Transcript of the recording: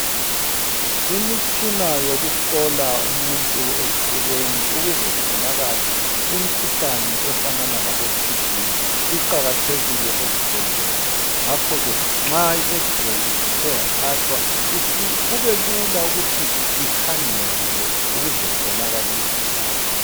Imitshina yokuhlola umuntu esifubeni ukuze kubonakale imikhuhlane efana labo TB iqakathekile ezibhedlela ngakho ke nxa i X ray ithe yathathwa kubelula ukuthi ikhangelwe ukuze kubonakale umkhuhlane.